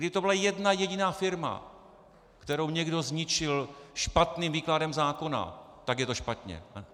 Kdyby to byla jedna jediná firma, kterou někdo zničil špatným výkladem zákona, tak je to špatně.